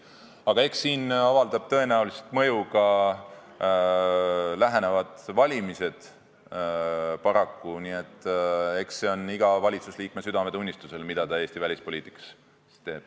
Aga eks siin avaldavad tõenäoliselt paraku mõju ka lähenevad valimised, nii et eks see ole iga valitsusliikme südametunnistusel, mida ta Eesti välispoliitikas teeb.